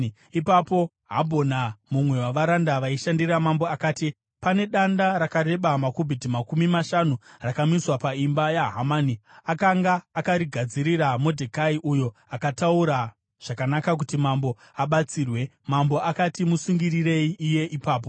Ipapo Habhona, mumwe wavaranda vaishandira mambo akati, “Pane danda rakareba makubhiti makumi mashanu rakamiswa paimba yaHamani. Akanga akarigadzirira Modhekai, uyo akataura zvakanaka kuti mambo abatsirwe.” Mambo akati, “Musungirirei iye ipapo!”